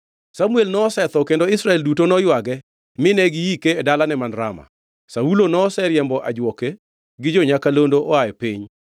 Samuel nosetho kendo Israel duto noywage mine giike e dalane man Rama. Saulo noseriembo ajuoke, gi jo-nyakalondo oa e piny.